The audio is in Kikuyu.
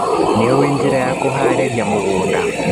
Nĩũĩ njĩra ya kũharĩrĩria mũgũnda.